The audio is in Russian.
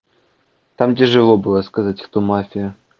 там тяжело было сказать кто мафия